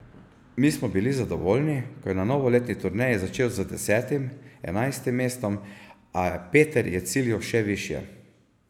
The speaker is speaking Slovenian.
Mi smo bili zadovoljni, ko je na novoletni turneji začel z desetim, enajstim mestom, a Peter je ciljal še višje.